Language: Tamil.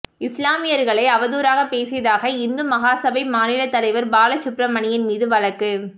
இஸ்லாமியர்களை அவதூறாக பேசியதாக இந்து மகாசபை மாநில தலைவர் பாலசுப்பிரமணியன் மீது வழக்கு